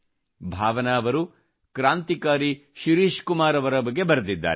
ಭಾವನಾ ಅವರು ಕ್ರಾಂತಿಕಾರಿ ಶಿರೀಷ್ ಕುಮಾರ್ ಅವರ ಬಗ್ಗೆ ಬರೆದಿದ್ದಾರೆ